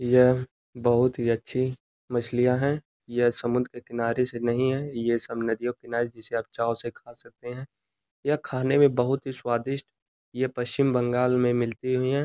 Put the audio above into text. यह बहोत ही अच्छी मछलियां हैं। यह समुन्द्र के किनारे से नहीं है। यह सब नदियों के किनारे जिसे आप चाहो उसे खा सकते हैं। यह खाने में बहोत ही स्वादिष्ट। यह पश्चिम बंगाल में मिलती हुई हैं।